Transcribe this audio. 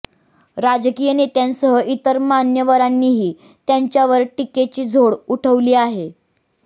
राजकीय नेत्यांसह इतर मान्यवरांनीही त्यांच्यावर टीकेची झोड उठवली आहे